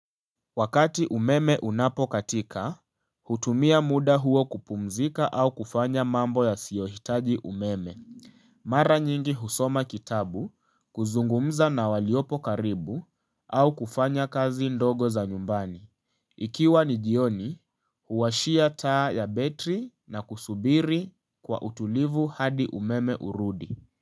Wakati umeme unapokatika hutumia muda huo kupumzika au kufanya mambo yasiyohitaji umeme. Mara nyingi husoma kitabu, kuzungumza na waliopo karibu au kufanya kazi ndogo za nyumbani. Ikiwa ni jioni, huwashia taa ya betri na kusubiri kwa utulivu hadi umeme urudi.